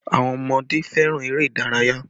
Àwọn ọmọdé fẹ́ràn eré ìdárayá